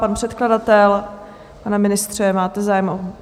Pan předkladatel, pane ministře, máte zájem?